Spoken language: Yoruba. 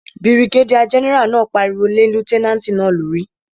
Birigédíà gẹ́nẹ́rà náà pariwo lé lútẹ́nàtì náà lórí